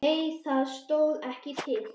Nei það stóð ekki til.